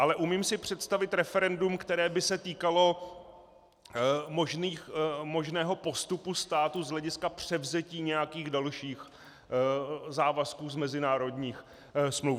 Ale umím si představit referendum, které by se týkalo možného postupu státu z hlediska převzetí nějakých dalších závazků z mezinárodních smluv.